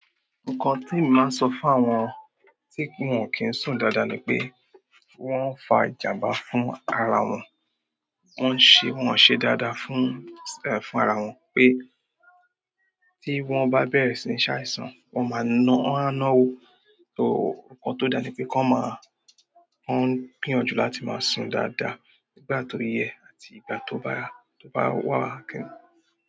Nǹkan tí mo ma ń sọ fún àwọn tí wọn kì í sùn dáadáa ni pé wọ́n ń fa ìjàm̀bá fún ara wọn. Wọ́n ń ṣe, wọn ọ̀n ṣe dáadáa fún ara wọn pé, tí wọ́n bá bẹ̀rẹ̀ sí ní ṣàìsàn wọ́n máa nán, wọ́n á nán o. Nǹkan tó dáa ni pé kán ma a, kán gbìyànjú láti máa sùn dáadáa nígbà tó yẹ àti ìgbà tó bá, tó bá wà kẹ́